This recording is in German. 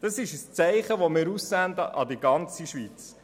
Dieses Zeichen senden wir an die ganze Schweiz.